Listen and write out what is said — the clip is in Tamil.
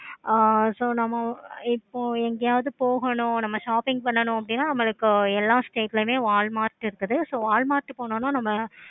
ஆஹ் so நம்ம இப்போ எங்கயாவது போகணும் நம்ம shopping பண்ணனும் அப்படினா நமக்கு எல்லா state ளையும் Walmart இருக்குது. so Walmart போணும்னா நம்ம